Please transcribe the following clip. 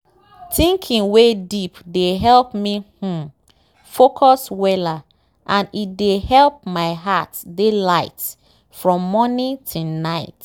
thinking wey deep dey help me um focus weller and e dey help my heart dey light from morning till night.